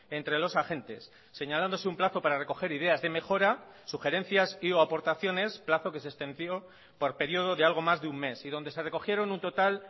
entre los agentes señalándose un plazo para recoger ideas de mejora sugerencias y o aportaciones plazo que se extendió por periodo de algo más de un mes y donde se recogieron un total